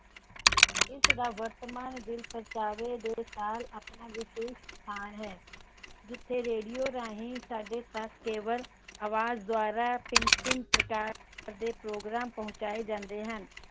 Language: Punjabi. ਇਸ ਦਾ ਵਰਤਮਾਨ ਦਿਲ ਪ੍ਰਚਾਵੇ ਦੇ ਨਾਲ ਆਪਣਾ ਵਿਸ਼ੇਸ਼ ਸਥਾਨ ਹੈ ਜਿਥੇ Radio ਰਾਹੀਂ ਸਾਡੇ ਤਕ ਆਵਾਜ ਰਾਹੀਂ ਸਾਡੇ ਤਕ ਭਿੰਨ ਭਿੰਨ ਪ੍ਰਕਾਰ ਦੇ Program ਪਹੁੰਚਾਏ ਜਾਂਦੇ ਹਨ